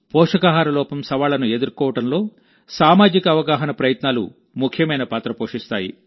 పోషకాహార లోపం సవాళ్లను ఎదుర్కోవడంలో సామాజిక అవగాహన ప్రయత్నాలు ముఖ్యమైన పాత్ర పోషిస్తాయి